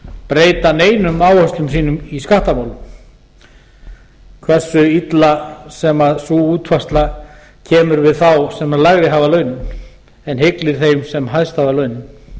breyta neinum áætlunum sínum í skattamálum hversu illa sem sú útfærsla kemur við þá sem lægri hafa launin en hyglir þeim sem